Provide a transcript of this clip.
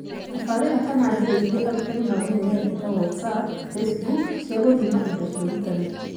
Tabarĩĩra kana njĩra iria arutani mamenyerete, ta WhatsApp, Facebook, cia gũthima indo cia ũrutani